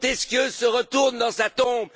Montesquieu se retourne dans sa tombe!